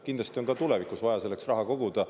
Kindlasti on ka tulevikus vaja selleks raha koguda.